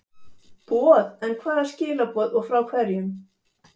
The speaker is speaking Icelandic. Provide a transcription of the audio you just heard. boð, en hvaða skilaboð og frá hverjum?